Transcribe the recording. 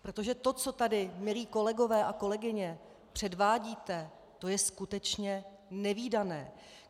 Protože to, co tady, milí kolegové a kolegyně, předvádíte, to je skutečně nevídané.